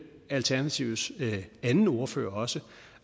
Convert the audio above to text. alternativets anden ordfører også